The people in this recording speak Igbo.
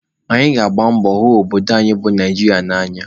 Anyị ga-agba mbọ hụ obodo anyị bụ Naijiria n'anya